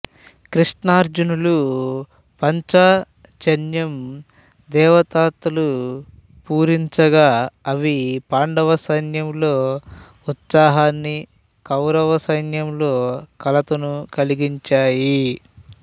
కృష్ణార్జునులు పాంచజన్యం దేవదత్తాలు పూరించగా అవి పాండవ సైన్యంలో ఉత్సాహాన్ని కౌరవ సైన్యంలో కలతను కలిగించాయి